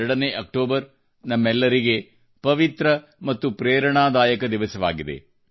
2ನೇ ಅಕ್ಟೋಬರ್ ನಮ್ಮೆಲ್ಲರಿಗೆ ಪವಿತ್ರ ಮತ್ತು ಪ್ರೇರಣದಾಯಕ ದಿವಸವಾಗಿದೆ